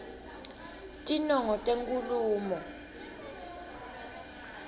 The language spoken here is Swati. tinongo tenkhulumo